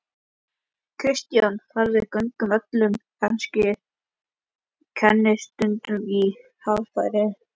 Kristján: Farið gegn öllum kennisetningum í hagfræði?